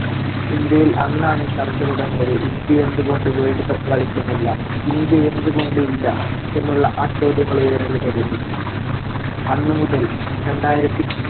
ഇന്ത്യയിൽ അന്നാണ് ചർച്ച തുടങ്ങിയത്. ഇന്ത്യ എന്തുകൊണ്ട് world cup കളിക്കുന്നില്ല? ഇന്ത്യ എന്തുകൊണ്ട് ഇല്ല. എന്നുള്ള ആ ചോദ്യങ്ങൾ ഉയരാൻ തുടങ്ങി. അന്നുമുതൽ രണ്ടായിരത്തി